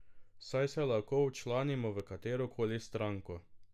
Saj se lahko včlanimo v katero koli stranko.